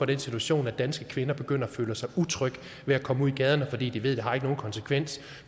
den situation at danske kvinder begynder at føle sig utrygge ved at komme ud i gaderne fordi de ved har nogen konsekvens og